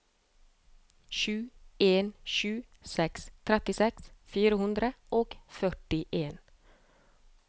sju en sju seks trettiseks fire hundre og førtien